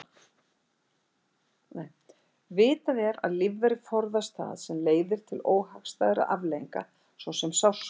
Vitað er að lífverur forðast það sem leiðir til óhagstæðra afleiðinga svo sem sársauka.